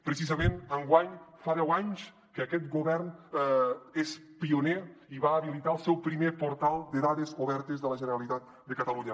precisament enguany fa deu anys que aquest govern és pioner i va habilitar el seu primer portal de dades obertes de la generalitat de catalunya